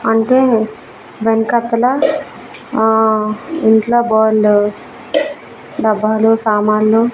అంటే వెనకతలా ఆ ఇంట్లో బోల్డు డబ్బాలో సామాన్లు.